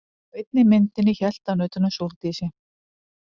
Á einni myndinni hélt hann utan um Sóldísi.